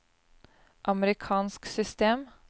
amerikansk system